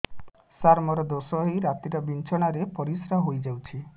ସାର ମୋର ଦୋଷ ହୋଇ ରାତିରେ ବିଛଣାରେ ପରିସ୍ରା ହୋଇ ଯାଉଛି